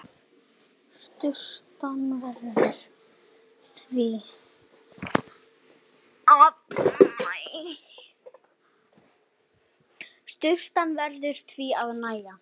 Sturtan verður því að nægja.